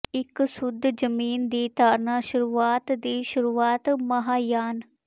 ਇਕ ਸ਼ੁੱਧ ਜਮੀਨ ਦੀ ਧਾਰਣਾ ਸ਼ੁਰੂਆਤ ਦੀ ਸ਼ੁਰੂਆਤ ਮਹਾਯਾਨ